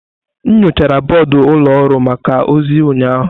M nyochara bọọdụ ụlọ ọrụ maka ozi ụnyaahụ.